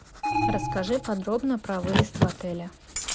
расскажи подробно про выезд в отеле